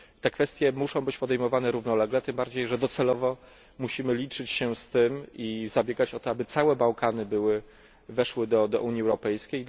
Kwestie te muszą być podejmowane równolegle, tym bardziej że docelowo musimy liczyć się z tym i zabiegać o to, aby całe Bałkany weszły do Unii Europejskiej.